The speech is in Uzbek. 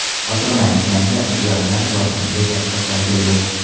Ochig‘ini aytganda, ulardan korxonaga katta foyda yo‘q.